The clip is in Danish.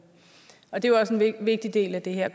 vigtig del af det her